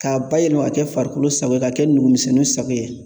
K'a bayɛlɛma ka kɛ farikolo sago ye, ka kɛ numu misɛnninw sago ye.